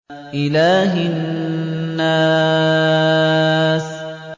إِلَٰهِ النَّاسِ